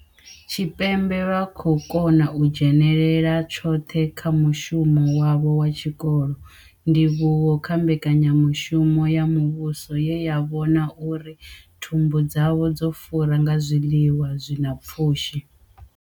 Tshipembe vha khou kona u dzhenela tshoṱhe kha mushumo wavho wa tshikolo, ndivhuwo kha mbekanyamushumo ya muvhuso ye ya vhona uri thumbu dzavho dzo fura nga zwiḽiwa zwi na pfushi.